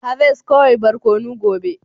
Harvest kawai barkono gobe